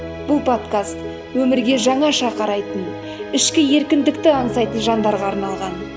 бұл подкаст өмірге жаңаша қарайтын ішкі еркіндікті аңсайтын жандарға арналған